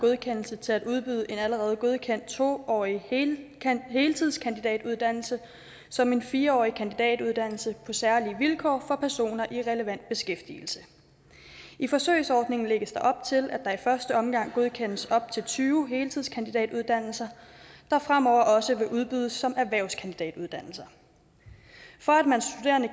godkendelse til at udbyde en allerede godkendt to årig heltidskandidatuddannelse som en fire årig kandidatuddannelse på særlige vilkår for personer i relevant beskæftigelse i forsøgsordningen lægges der op til at der i første omgang godkendes op til tyve heltidskandidatuddannelser der fremover også vil udbydes som erhvervskandidatuddannelser for at man